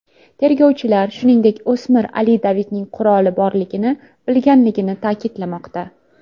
Tergovchilar, shuningdek, o‘smir Ali Davidning quroli borligini bilganligini ta’kidlamoqda.